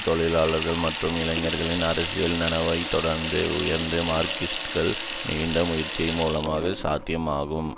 தொழிலாளர்கள் மற்றும் இளைஞர்களின் அரசியல் நனவைதொடர்ந்து உயர்த்தும் மார்க்சிஸ்டுகளது நீடித்த முயற்சியின் மூலமே சாத்தியமாகும்